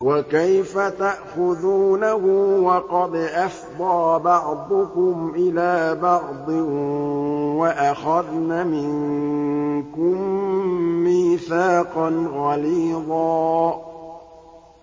وَكَيْفَ تَأْخُذُونَهُ وَقَدْ أَفْضَىٰ بَعْضُكُمْ إِلَىٰ بَعْضٍ وَأَخَذْنَ مِنكُم مِّيثَاقًا غَلِيظًا